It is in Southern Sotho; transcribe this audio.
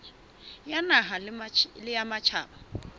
ya naha le ya matjhaba